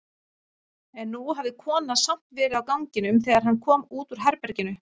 En nú hafði konan samt verið á ganginum þegar hann kom út úr herberginu.